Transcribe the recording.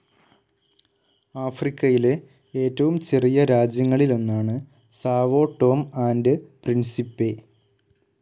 ആഫ്രിക്കയിലെ ഏറ്റവും ചെറിയ രാജ്യങ്ങളിലൊന്നാണ് സാവോ ടോം ആൻഡ്‌ പ്രിൻസിപ്പെ.